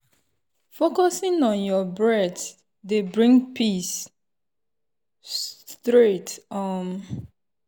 focusing on your breath dey bring peace straight. um